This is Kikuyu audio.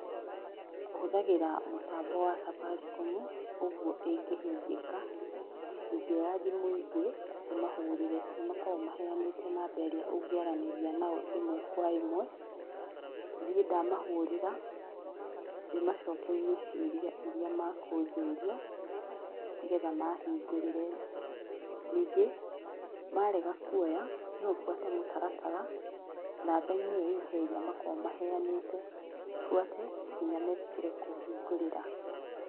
Hũthagĩra mũtambo wa Safaricom, ũguo ĩngĩhingĩka ingĩoya thimũ ingĩ ndĩmahũrĩre nĩ makoragwo maheanĩte namba ĩrĩa ũngĩaranĩria nao ĩmwe kwa ĩmwe, niĩ ndamahũrĩra ndĩamacokerie ciũria iria makũnjũria nĩgetha mahingũrĩre, ningĩ marega kwoya nobuate mũtaratara namba inĩ o ĩyo makoragwo maheanĩte buate nginya metĩkĩre kũhingũrĩra